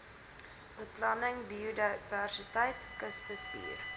beplanning biodiversiteit kusbestuur